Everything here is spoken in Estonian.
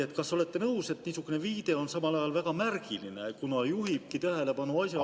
Ja kas olete nõus, et niisugune viide on samal ajal väga märgiline, kuna juhib tähelepanu asjaolule …